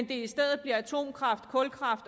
det i stedet bliver atomkraft kulkraft